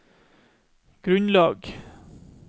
grunnlag